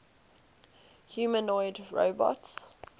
humanoid robots